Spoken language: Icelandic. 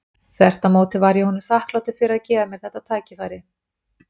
Þvert á móti var ég honum þakklátur fyrir að gefa mér þetta tækifæri.